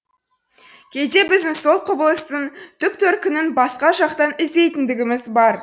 кейде біздің сол құбылыстың түп төркінін басқа жақтан іздейтіндігіміз бар